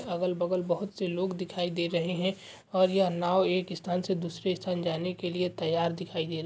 अगल बगल बहोत से लोग दिखाई दे रहे हैं और यह नांव एक स्थान से दूसरे स्थान जाने के लिए तैयार दिखाई दे रही है।